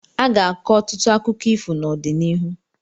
Aga-akọ ọtụtụ akụkọ ifo n'ọdịnihu.